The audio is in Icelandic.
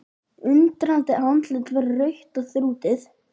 Undrandi andlitið verður rautt og þrútið.